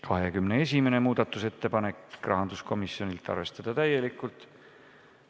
21. muudatusettepanek, rahanduskomisjonilt, arvestada täielikult.